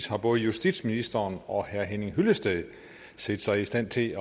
har både justitsministeren og herre henning hyllested set sig i stand til